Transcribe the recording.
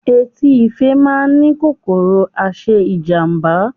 Etí ife má a ni kòkòrò aṣe ijamba